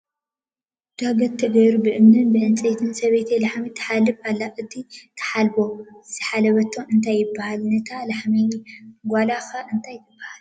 ዳገት ተገይሩ ብእምንን ብዕንጨይትን ሰበይቲ ላሕሚ ትሓልብ ኣላ እቲ ትሓለበ ዝሓዘትሉ እንታይ ይበሃል ? ንታ ላሕሚ ጋላ ከ እንታይ ትበሃል ?